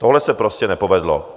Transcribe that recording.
Tohle se prostě nepovedlo."